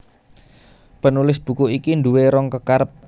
Penulis buku iki nduwé rong kekarep